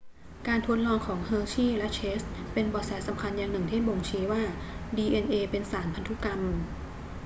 การทดลองของเฮอร์ชีย์และเชสเป็นเบาะแสสำคัญอย่างหนึ่งที่บ่งชี้ว่าดีเอ็นเอเป็นสารพันธุกรรม